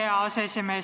Aitäh, hea aseesimees!